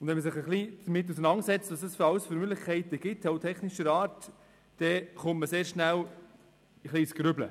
Wenn man sich etwas damit auseinandersetzt, welche Möglichkeiten technischer Art es dazu gibt, kommt man sehr schnell ins Grübeln.